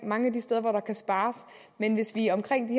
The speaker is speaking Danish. mange af de steder hvor der kan spares hvis vi omkring de